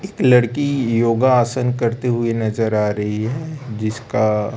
एक लड़की योगा आसन करते हुए नजर आ रही है जिसका--